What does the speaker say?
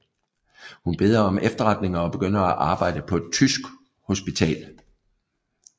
Hun beder om efterretninger og begynder at arbejde på et tysk hospital